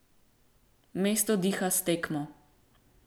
Mesto diha s tekmo.